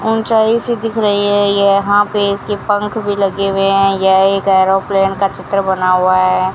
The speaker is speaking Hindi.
ऊंचाई से दिख रही है यहां पे इसके पंख भी लगे हुए हैं यह एक एरोप्लेन का चित्र बना हुआ है।